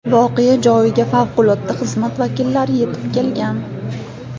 Voqea joyiga favqulodda xizmat vakillari yetib kelgan.